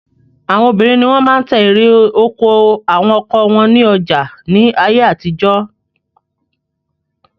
Àwọn obìnrin ni wọ́n máa ń ta erè oko àwọn ọkọ wọn ní ọjà ní ayé àtijọ́.